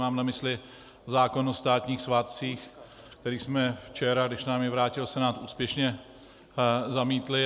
Mám na mysli zákon o státních svátcích, který jsme včera, když nám jej vrátil Senát, úspěšně zamítli.